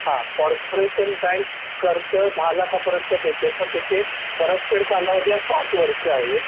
हा corporation bank तुमचं १० लाख पर्यंत देते पण त्याच परत फेड कालावधी हा ७ वर्ष आहे